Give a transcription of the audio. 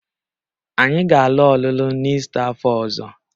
Anyị ga-alụ ọlụlụ n'Ista afọ ọzọ